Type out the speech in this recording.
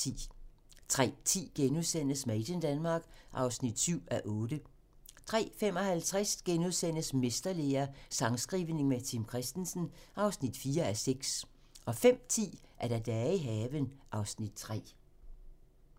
03:10: Made in Denmark (7:8)* 03:55: Mesterlære - sangskrivning med Tim Christensen (4:6)* 05:10: Dage i haven (Afs. 3)